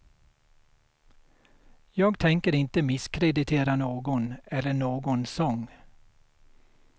Jag tänker inte misskreditera någon eller någon sång.